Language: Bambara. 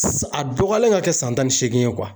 a dɔgɔyalen ka kɛ san tan ni seegin ye